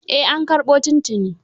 Eh an karbo tun tuni.